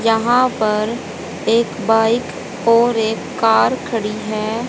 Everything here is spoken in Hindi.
यहां पर एक बाइक और एक कार खड़ी है।